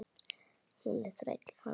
Hún er þræll hans.